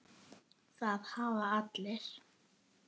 Það hafa allir